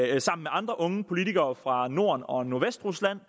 jeg sammen med andre unge politikere fra norden og nordvestrusland